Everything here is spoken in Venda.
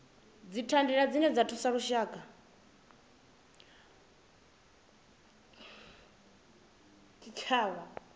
dzithandela dzine dza thusa zwitshavha